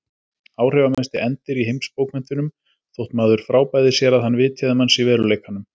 Áhrifamesti endir í heimsbókmenntunum þótt maður frábæði sér að hann vitjaði manns í veruleikanum.